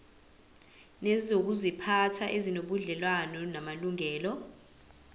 nezokuziphatha ezinobudlelwano namalungelo